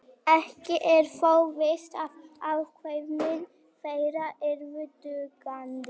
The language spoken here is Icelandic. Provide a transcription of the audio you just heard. ekki er þó víst að afkvæmi þeirra yrðu dugandi